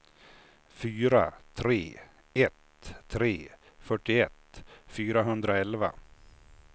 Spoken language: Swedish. fyra tre ett tre fyrtioett fyrahundraelva